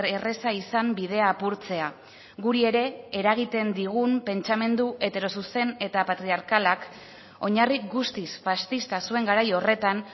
erraza izan bidea apurtzea guri ere eragiten digun pentsamendu heterozuzen eta patriarkalak oinarri guztiz faxista zuen garai horretan